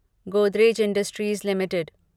Godrej industries limited